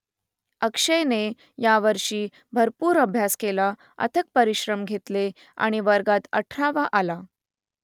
अक्षयने यावर्षी भरपूर अभ्यास केला अथक परिश्रम घेतले आणि वर्गात अठरावा आला